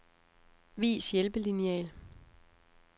Vis hjælpelineal.